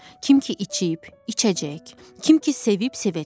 Kim ki içib, içəcək, kim ki sevib sevəcək.